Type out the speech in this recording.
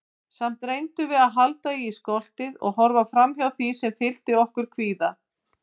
Samt reyndum við að halda í stoltið- og horfa framhjá því sem fyllti okkur kvíða.